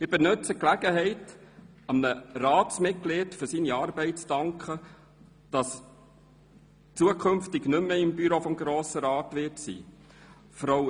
Ich nutze hier die Gelegenheit, einem Ratsmitglied zu danken, das zukünftig nicht mehr im Büro des Grossen Rats Einsitz haben wird.